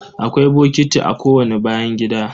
Akwai bokiti a kowani bayan gida.